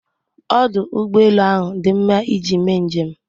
Ọdụ ụgbọelu ahụ dị mma iji mee njem.